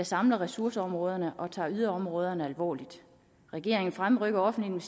samler ressourceområderne og tager yderområderne alvorligt regeringen fremrykker offentlige